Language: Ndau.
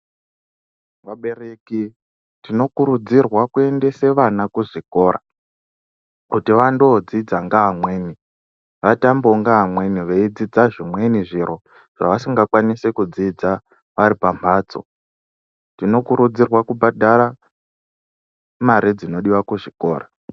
Tinokurudzirwawo kuendesa vana kuzvikora kuti vandodzidza ngeamweni vatambewo ngeamweni kuti vadzidze zvimweni zviro zvavasingakwanisi kudzidza vari pamhatso , tinokurudzirwa kubhadhara mare dzinodiwa kuzvikora.